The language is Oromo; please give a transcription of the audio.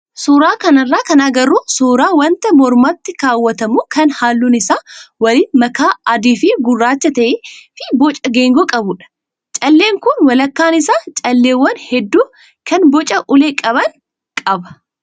Suuraa kanarraa kan agarru suuraa wanta mormatti kaa'atamu kan halluun isaa waliin makaa adii fi gurraachaa ta'ee fi boca geengoo qabudha. Calleen kun walakkaan isaa calleewwan hedduu kan boca ulee qaban qaba.